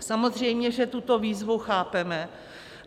Samozřejmě že tuto výzvu chápeme.